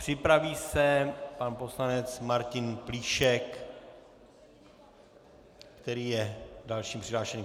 Připraví se pan poslanec Martin Plíšek, který je dalším přihlášeným.